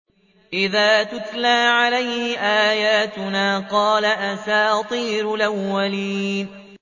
إِذَا تُتْلَىٰ عَلَيْهِ آيَاتُنَا قَالَ أَسَاطِيرُ الْأَوَّلِينَ